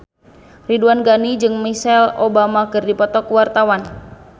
Ridwan Ghani jeung Michelle Obama keur dipoto ku wartawan